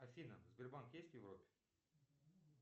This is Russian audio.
афина сбербанк есть в европе